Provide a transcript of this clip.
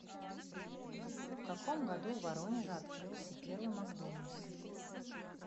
в каком году в воронеже открылся первый макдональдс